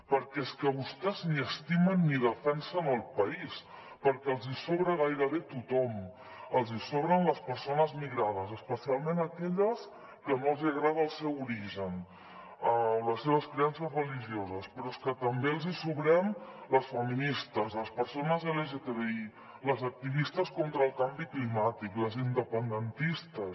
perquè és que vostès ni estimen ni defensen el país perquè els hi sobra gairebé tothom els hi sobren les persones migrades especialment aquelles que no els hi agrada el seu origen o les seves creences religioses però és que també els hi sobrem les feministes les persones lgtbi les activistes contra el canvi climàtic les independentistes